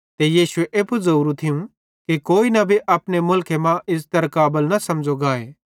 ते यीशुए एप्पू ज़ोरू थियूं कि कोई नबी अपने मुलखे मां इज़्ज़तरे काबल न समझ़ो गाए